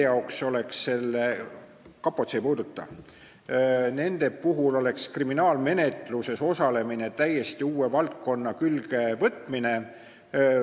Kapot see ei puuduta, aga teiste puhul oleks kriminaalmenetluses osalemine täiesti uue valdkonna juurde saamine.